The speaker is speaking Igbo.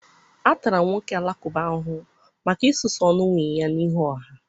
A tara nwoke Alakụba ahụhụ maka isusu ọnụ nwunye ya n'ihu ọha.